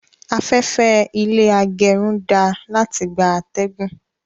Afẹ́fẹ́ ilé agẹrun dáa láti gbà atẹgun